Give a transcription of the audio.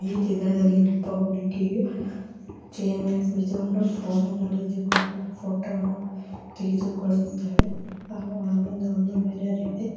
ಈ ಚಿತ್ರದಲ್ಲಿ ಒಬ್ಬ ಹುಡುಗಿಯು ಚೇರ್ ಮೇಲೆ ಕುಳಿತುಕೊಂಡು ಫೋನ್ ನನ್ನು ಹಿಡಿದುಕೊಂಡು ಫೋಟೋ ವನ್ನು ತೆಗೆದುಕೊಳ್ಳುತಿದ್ದಾಳೆ ಒಳಗೆ ಒಂದು ಮಿರರ್ ಇದೆ.